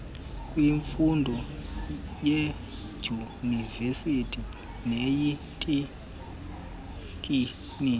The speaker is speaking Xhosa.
kwemfundo yeedyunivesithi neyeeteknikoni